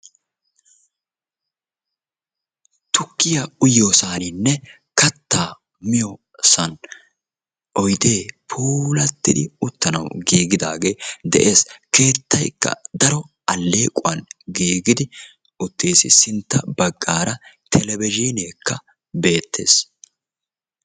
Tukkiya uyiyosaaninne kattaa miyo san oydee puulattidi uttanawu giigidaagee de'ees. Keettaykka daro alleequwan giigidi uttiis. Sintta baggaara televizhiineekka beettees.